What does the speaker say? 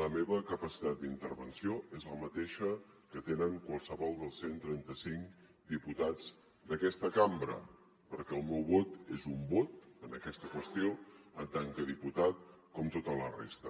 la meva capacitat d’intervenció és la mateixa que tenen qualsevol dels cent i trenta cinc diputats d’aquesta cambra perquè el meu vot és un vot en aquesta qüestió en tant que diputat com tota la resta